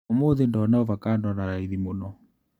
ũmũthĩ ndona ovacando na raithi mũno.